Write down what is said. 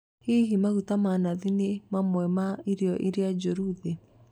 Hihi maguta ma nathi ni mamwe ma irio iria njoru thĩ?